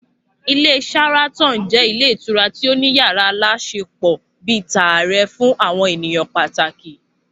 Ilé Sharaton jẹ́ ilé ìtura tí ó ní yàrá aláṣepọ̀ bíi tààrẹ fún àwọn ènìyàn pàtàkì